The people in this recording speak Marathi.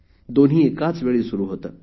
दोन्ही एकाच वेळी सुरु होते